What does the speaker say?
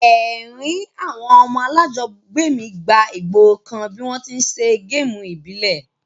Èrin àwon ọmọ alájogbé mi gba ìgborokan bi won ti n se game ìbílẹ̀